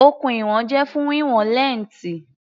Okùn ìwọ̀n jẹ́ fún wíwọn lẹ́ǹtì.